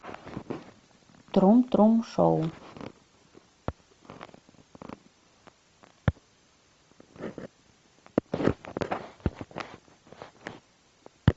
трум трум шоу